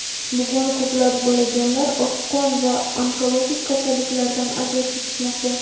bugun ko‘plab bolajonlar oqqon va onkologik kasalliklardan aziyat chekishmoqda.